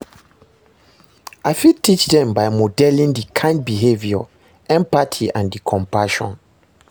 I fit teach dem by modeling di kind behavior, empathy and di compassion.